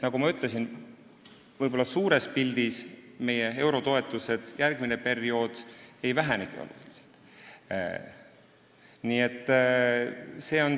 Nagu ma ütlesin, võib-olla suures pildis meie eurotoetused järgmisel perioodil oluliselt ei vähenegi.